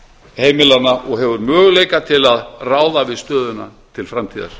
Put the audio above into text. heimilanna og hefur möguleika til að ráða við stöðuna til framtíðar